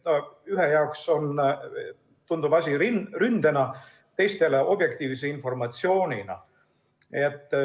Ühele tundub asi ründena, teisele objektiivse informatsioonina.